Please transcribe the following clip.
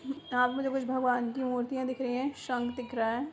यहाँ पे कुछ भगवन की मूर्तियां दिख रही है शंक दिख रहा है।